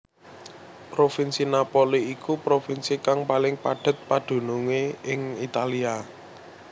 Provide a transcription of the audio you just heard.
Provinsi Napoli iku provinsi kang paling padhet padunungé ing Italia